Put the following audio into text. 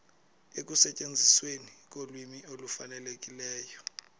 ekusetyenzisweni kolwimi olufanelekileyo